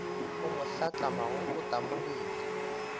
a mo hlatlamago o tamogile